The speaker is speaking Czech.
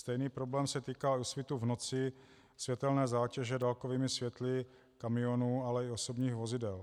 Stejný problém se týká svitu(?) v noci, světelné zátěže dálkovými světly kamionů, ale i osobních vozidel.